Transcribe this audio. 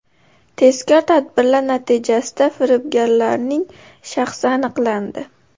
Tezkor tadbirlar natijasida firibgarlarning shaxsi aniqlandi.